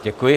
Děkuji.